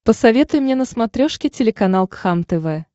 посоветуй мне на смотрешке телеканал кхлм тв